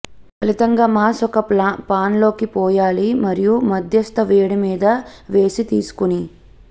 ఫలితంగా మాస్ ఒక పాన్ లోకి పోయాలి మరియు మధ్యస్థ వేడి మీద వేసి తీసుకుని